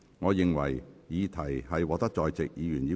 我宣布議案獲得通過。